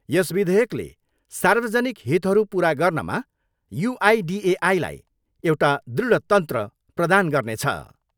यस विधेयकले सार्वजनिक हितहरू पुरा गर्नमा युआइडिएआईलाई एउटा दृढ तन्त्र प्रदान गर्नेछ।